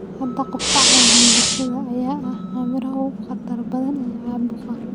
Hadda, qufaca iyo hindhisada ayaa ah arrimaha ugu khatarta badan ee caabuqa.